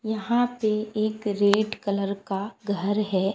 यहां पे एक रेड कलर का घर है।